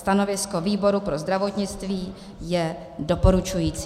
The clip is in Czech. Stanovisko výboru pro zdravotnictví je doporučující.